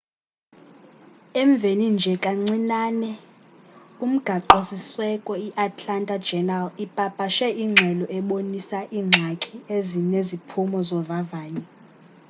emveni nje kancinane umgaqo siseko i atlanta journal ipapashe ingxelo ebonisa iingxaki ezineziphumo zovavanyo